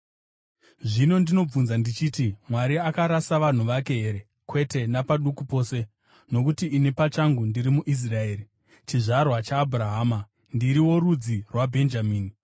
Zvino ndinobvunza ndichiti: Mwari akarasa vanhu vake here? Kwete napaduku pose! Nokuti ini pachangu ndiri muIsraeri, chizvarwa chaAbhurahama, ndiri worudzi rwaBhenjamini.